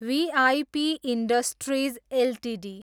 we I P industries Ltd